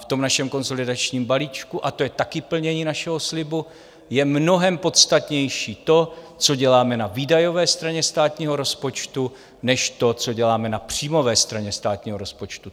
V tom našem konsolidačním balíčku, a to je také plnění našeho slibu, je mnohem podstatnější to, co děláme na výdajové straně státního rozpočtu, než to, co děláme na příjmové straně státního rozpočtu.